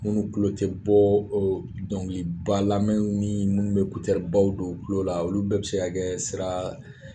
Munnu kulo ti bɔ dɔnkiliba lamɛn ni munnu be ekuteri baw don u kulo la olu bɛɛ bi se ka kɛ sira